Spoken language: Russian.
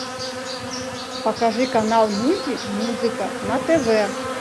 покажи канал мульти музыка на тв